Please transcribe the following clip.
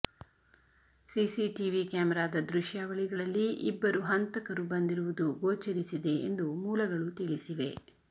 CCTV ಕ್ಯಾಮೆರಾದ ದೃಶ್ಯಾವಳಿಗಳಲ್ಲಿ ಇಬ್ಬರು ಹಂತಕರು ಬಂದಿರುವುದು ಗೋಚರಿಸಿದೆ ಎಂದು ಮೂಲಗಳು ತಿಳಿಸಿವೆ